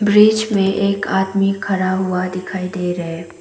बीच में एक आदमी खड़ा हुआ दिखाई दे रहा है।